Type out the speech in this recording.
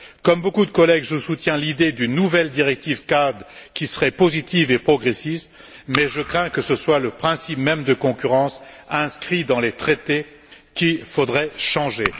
Comme beaucoup de collègues, je soutiens l'idée d'une nouvelle directive cadre qui serait positive et progressiste, mais je crains que ce soit le principe même de concurrence inscrit dans les traités qu'il faudrait changer.